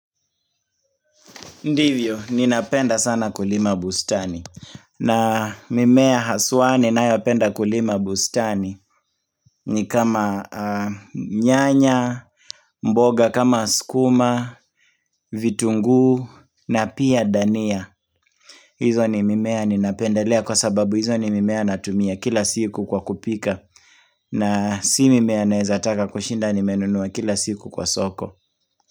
Ndivyo, ninapenda sana kulima bustani. Na mimea haswa ni nayapenda kulima bustani ni kama nyanya, mboga kama sukuma, vitunguu na pia dania. Hizo ni mimea ninapendalea kwa sababu hizo ni mimea natumia kila siku kwa kupika na si mimea naezataka kushinda ni menunua kila siku kwa soko.